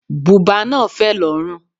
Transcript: Bùbá náà fẹ̀ lórùn.